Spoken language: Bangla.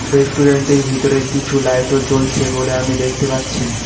রেস্টুরেন্টের ভিতরে কিছু লাইট -ও জ্বলছে বলে আমি দেখতে পাচ্ছি।